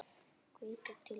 Hvetur til náms.